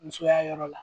Musoya yɔrɔ la